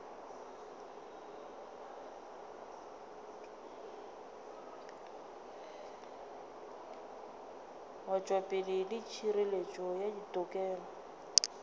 wetšopele le hireletšo ya ditokelo